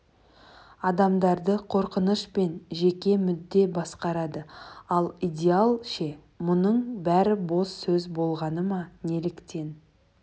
адамдарды қорқыныш пен жеке мүдде басқарады ал идеал ше мұның бәрі бос сөз болғаны ма неліктен